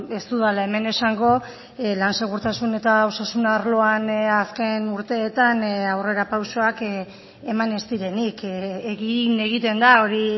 ez dudala hemen esango lan segurtasun eta osasun arloan azken urteetan aurrerapausoak eman ez direnik egin egiten da hori